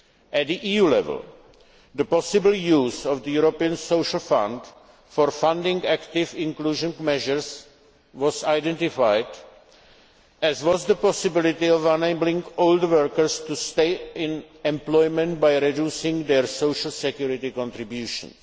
costs. At EU level, the possible use of the European Social Fund for funding active inclusion measures was identified, as was the possibility of enabling older workers to stay in employment by reducing their social security contributions.